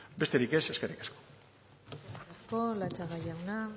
besterik ez eskerrik asko eskerrik asko latxaga jauna